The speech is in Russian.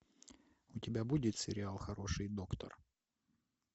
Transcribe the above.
у тебя будет сериал хороший доктор